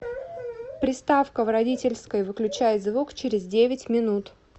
приставка в родительской выключай звук через девять минут